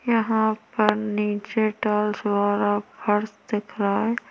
यहाँ पर नीचे टाइल्स वाला घर दिख रहा हैं।